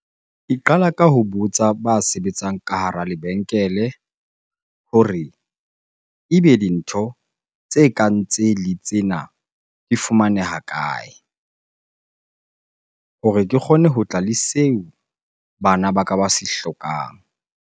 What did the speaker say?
Ke qala ka ho botsa ba sebetsang ka hara lebenkele hore ebe dintho tse kang tsele tsena di fumaneha kae hore ke kgone ho tla le seo bana ba ka ba se hlokang?